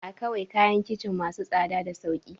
Akawai kayan kicin masu tsada da sauki